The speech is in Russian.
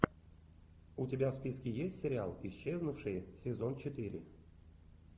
у тебя в списке есть сериал исчезнувшие сезон четыре